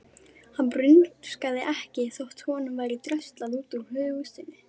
Hann rumskaði ekki þótt honum væri dröslað út úr húsinu.